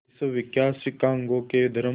विश्वविख्यात शिकागो के धर्म